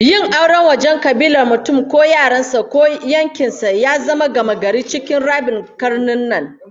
Yin aure a wajen kabilar mutum ko yaran sa ko yankin sa, ya zama gamagari cikin rabin karnin nan